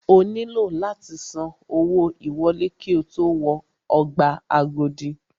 O nílò láti san owó ìwọlé ki o tó wọ ọgbà Agodi.